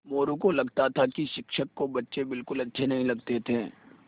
मोरू को लगता था कि शिक्षक को बच्चे बिलकुल अच्छे नहीं लगते थे